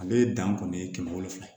Ale ye dan kɔni ye kɛmɛ wolonfila